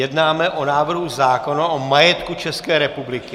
Jednáme o návrhu zákona o majetku České republiky.